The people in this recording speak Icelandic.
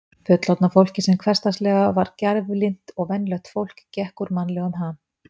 Fullorðna fólkið sem hversdagslega var gæflynt og venjulegt fólk gekk úr mannlegum ham.